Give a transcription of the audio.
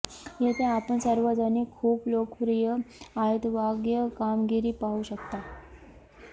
येथे आपण सार्वजनिक खूप लोकप्रिय आहेत वाद्य कामगिरी पाहू शकता